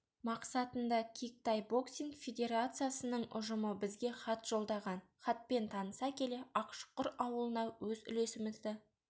мақсатында кик-тай боксинг федерациясының ұжымы бізге хат жолдаған хатпен таныса келе ақшұқыр ауылына өз үлесімізді